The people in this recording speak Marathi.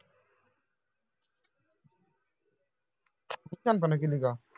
तूच शहाणपणा केली का